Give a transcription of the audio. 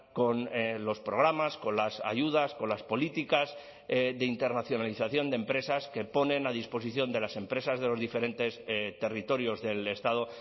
con los programas con las ayudas con las políticas de internacionalización de empresas que ponen a disposición de las empresas de los diferentes territorios del estado